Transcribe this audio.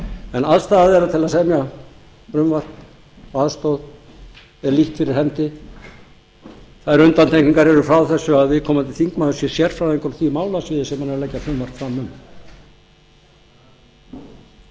en aðstaða þeirra til að semja frumvarp með aðstoð er lítt fyrir hendi þær undantekningar eru frá þessu að viðkomandi þingmaður sé sérfræðingur á því málasviði sem hann er að leggja frumvarp fram